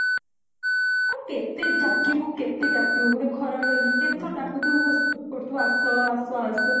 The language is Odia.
ଆଉ କେତେ ଡାକିବୁ କେତେ ଡାକିବୁ ଗୋଟେ ଖରାପ ଲାଗିବନି କେତେ ଥର ଡାକୁଥିବୁ ଖୋସମତ କରୁଥିବୁ ଆସ ଆସ ଆସ